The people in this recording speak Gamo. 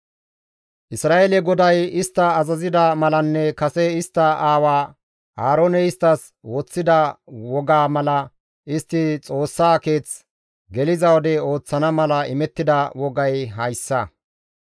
Isra7eele GODAY istta azazida malanne kase istta aawa Aarooney isttas woththida waaga mala istti Xoossaa keeth geliza wode ooththana mala imettida wogay hayssa.